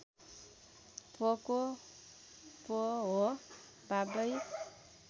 पोको पो हो बाबै